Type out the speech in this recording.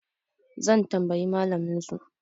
zan tambayi malaminsu?